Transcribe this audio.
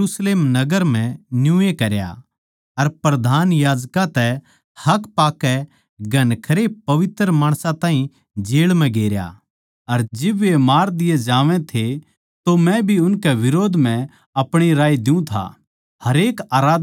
अर मन्नै यरुशलेम नगर म्ह न्यूए करया अर प्रधान याजकां तै हक पाकै घणखरे पवित्र माणसां ताहीं जेळ म्ह गेरया अर जिब वे मार दिये जावै थे तो मै भी उनकै बिरोध म्ह अपणी राय द्यु था